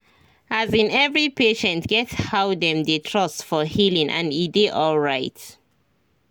as in every patient get how them dey trust for healing and e dey alright